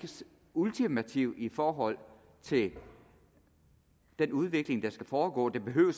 ultimative i forhold til den udvikling der skal foregå den behøver